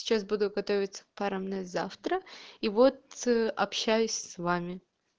сейчас буду готовиться к парам на завтра и вот общаюсь с вами